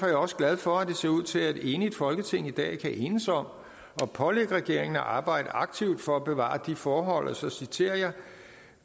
jeg også glad for at det ser ud til at et enigt folketing i dag kan enes om at pålægge regeringen at arbejde aktivt for at bevare de forhold og så citerer jeg